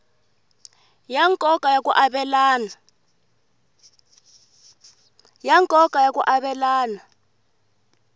ya nkoka ya ku avelana